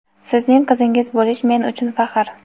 Sizning qizingiz bo‘lish men uchun faxr.